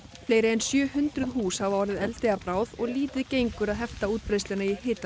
fleiri en sjö hundruð hús hafa orðið eldi að bráð og lítið gengur að hefta útbreiðsluna í hitanum